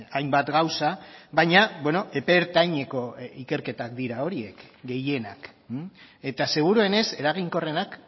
hainbat gauza baina epe ertaineko ikerketak dira horiek gehienak eta seguruenez eraginkorrenak